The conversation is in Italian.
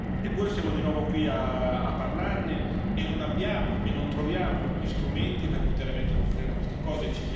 Eppure siamo di nuovo qui a parlarne e non abbiamo e non troviamo gli strumenti per poter mettere un freno a questa cosa.